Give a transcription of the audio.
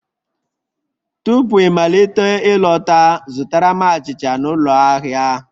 Tupu ịmalite ịlọta, zụtara m achịcha n'ụlọ ahịa